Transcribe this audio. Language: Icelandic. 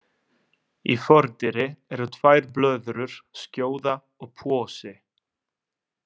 Í fordyri eru tvær blöðrur, skjóða og posi.